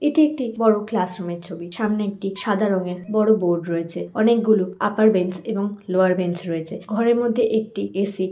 এটি একটি বড় ক্লাস রুম -এর ছবি সামনের একটি সাদা রংয়ের বড় বোর্ড রয়েছে অনেকগুলো আপার বেঞ্চ এবং লোয়ার বেঞ্চ রয়েছে ঘরের মধ্যে একটি এ.সি. ।